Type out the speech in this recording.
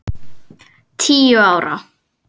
Tíu ára.